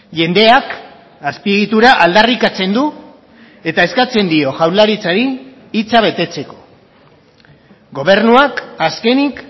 jendeak azpiegitura aldarrikatzen du eta eskatzen dio jaurlaritzari hitza betetzeko gobernuak azkenik